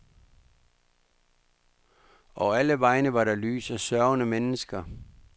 Og alle vegne var der lys og sørgende mennesker.